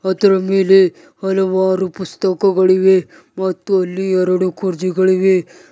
ಅದರ ಮೇಲೆ ಹಲವಾರು ಪುಸ್ತಕಗಳಿವೆ ಮತ್ತು ಅಲ್ಲಿ ಎರಡು ಕುರ್ಚಿಗಳು ಇವೆ.